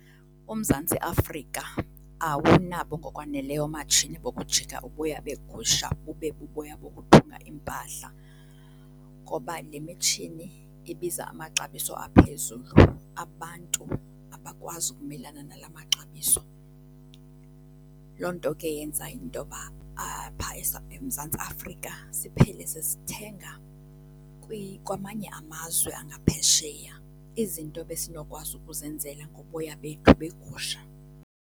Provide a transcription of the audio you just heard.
UMzantsi Afrika awunabo ngokwaneleyo oomatshini bokujika uboya beegusha bube buboya bokuthunga iimpahla ngoba le mitshini ibiza amaxabiso aphezulu. Abantu abakwazi ukumelana nala maxabiso. Loo nto ke yenza into yoba eMzantsi Afrika siphele sesithenga kwamanye amazwe angaphesheya izinto ebesinokwazi ukuzenzela ngoboya bethu beegusha.